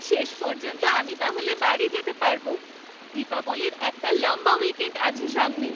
শেষ পর্যন্ত আমি তাহলে বাড়ি যেতে পারবো। দীপাবলীর একটা লম্বা উইকেণ্ড আছে সামনে।